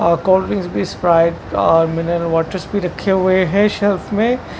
स्प्राइड और mineral waters भी रखे हुए हैं शेल्फ में--